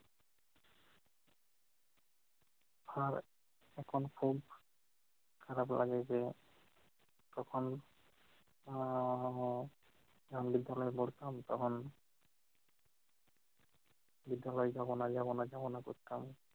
এখন খুব খারাপ লাগে যে তখন আহ যখন বিদ্যালয়ে পড়তাম তখন বিদ্যালয় যাবনা যাবনা যাবনা করতাম